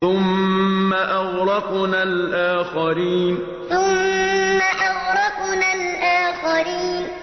ثُمَّ أَغْرَقْنَا الْآخَرِينَ ثُمَّ أَغْرَقْنَا الْآخَرِينَ